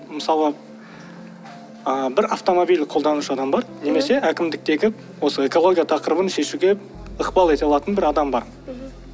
мысалы ы бір автомобиль қолданушы адам бар немесе әкімдіктегі осы экология тақырыбын шешуге ықпал ете алатын бір адам бар мхм